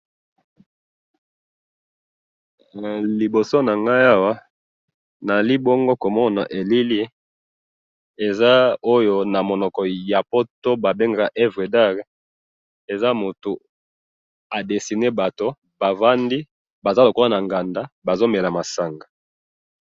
liboso na nanga awa na zali bongo to mona elilili eza oyo na monoko ya poto ba bengaka ouevre l art eza mutu a dessine batu ba vandi baza lokola na nganda ba vandi ba zo mela masanga